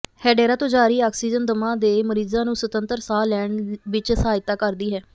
Hedera ਤੋਂ ਜਾਰੀ oxygen ਦਮਾ ਦੇ ਮਰੀਜ਼ਾਂ ਨੂੰ ਸੁਤੰਤਰ ਸਾਹ ਲੈਣ ਵਿਚ ਸਹਾਇਤਾ ਕਰਦੀ ਹੈ